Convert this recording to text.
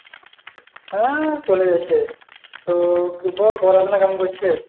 হ্যাঁ চলে যাচ্ছে, তো বল পড়াশোনা কেমন করছিস?